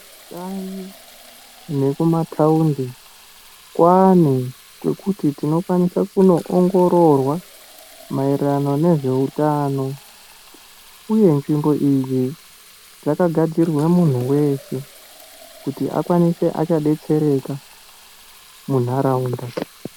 Vantu vekuma thaundi kwane kwekuti tinokwanisa kundoongororwa maererano nezveutano uye nzvimbo idzi dzakagadzirirwe muntu weshe kuti akwanise achadetsereka munharaunda.